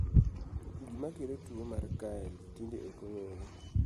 gimakelo mag tuo mar Kyrle tinde ok ong'ere